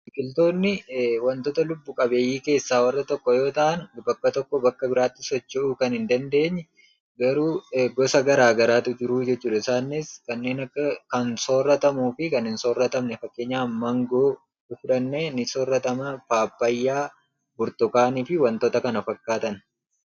Biqiltoonni wantota lubbu qabeeyyii keessaa warra tokko yoo ta'ani bakka tokkoo bakka biraatti socho'uu kan hin dandeenye garuu gosa garaa garaatu jiruu jechuudha. Isaanis kanneeen akka kan sooratamuu fi kan hin sooratamne. Fakkenyaaf mangoo yoo fudhannee ni sooratamaa, Paappayyaa, burtukaanii fi wantoota kana fakkaatan.